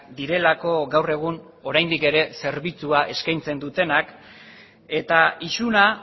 direlako gaur egun oraindik ere zerbitzua eskaintzen dutenak eta isuna